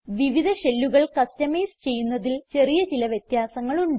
വിവിധ ഷെല്ലുകൾ കസ്റ്റമൈസ് ചെയ്യുന്നതിൽ ചെറിയ ചില വ്യത്യാസങ്ങൾ ഉണ്ട്